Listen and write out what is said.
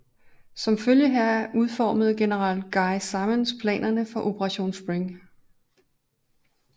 Som følge heraf udformede general Guy Simonds planerne for Operation Spring